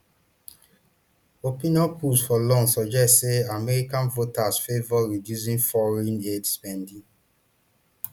opinion polls for long suggest say american voters favour reducing foreign aid spending